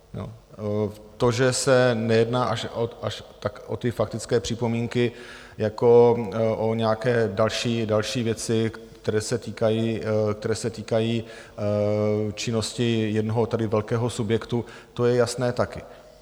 To, že se nejedná až tak o ty faktické připomínky jako o nějaké další věci, které se týkají činnosti jednoho tady velkého subjektu, to je jasné také.